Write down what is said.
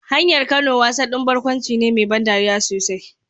Hanyar Kano wasa ɗin barkwanci ne mai ban dariya sosai.